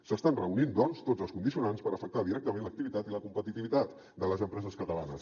s’estan reunint doncs tots els condicionants per afectar directament l’activitat i la competitivitat de les empreses catalanes